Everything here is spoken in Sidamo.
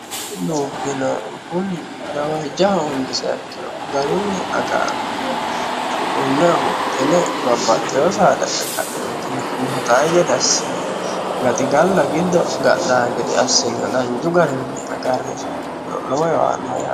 dubbino kunni gawaajja hoongiseekkiro garunni agaanme suqunne huxine babbaxxeyo saada e ka'enti huxai gede assine gaxigalla giddo gadhaa gide assin danju garinni agarree seekkiro lowo yowaannoyae